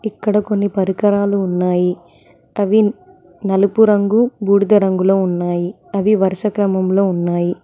ఇక్కడ కొన్ని పరికరాలు ఉన్నాయి అవి నలుపు రంగు బూడిద రంగులో ఉన్నాయి అవి వరుస క్రమంలో ఉన్నాయి.